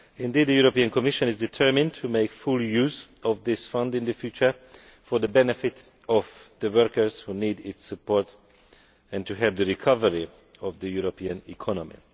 Indeed, the European Commission is determined to make full use of this Fund in the future for the benefit of the workers who need its support and to help the recovery of the European economy.